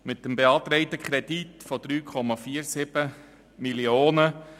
Der beantragte Kredit beträgt 3,47 Mio. Franken.